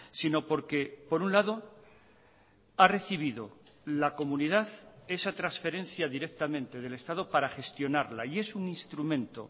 sino porque por un lado ha recibido la comunidad esa transferencia directamente del estado para gestionarla y es un instrumento